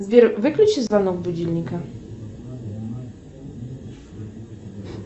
сбер выключи звонок будильника